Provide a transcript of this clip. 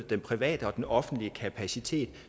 den private og den offentlige kapacitet